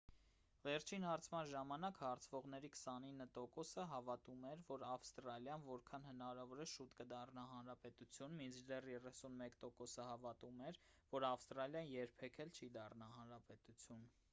վերջին հարցման ժամանակ հարցվողների 29%-ը հավատում էր որ ավստրալիան որքան հնարավոր է շուտ կդառնա հանրապետություն մինչդեռ 31%-ը հավատում էր որ ավստրալիան երբեք էլ չի դառնա հանրապետություն: